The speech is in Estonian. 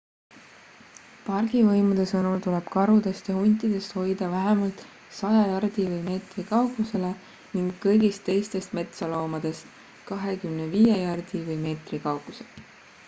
pargivõimude sõnul tuleb karudest ja huntidest hoida vähemalt 100 jardi/meetri kaugusele ning kõigist teistest metsloomadest 25 jardi/ meetri kaugusele!